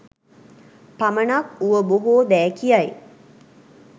පමණක් වුව බොහෝ දෑ කියයි.